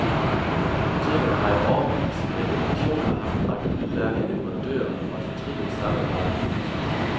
Apotekerne har i årevis, ja i generationer, haft en række udmærkede leverandører og et fortrinligt samarbejde med disse.